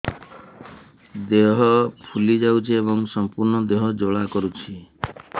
ଦେହ ଫୁଲି ଯାଉଛି ଏବଂ ସମ୍ପୂର୍ଣ୍ଣ ଦେହ ଜ୍ୱାଳା କରୁଛି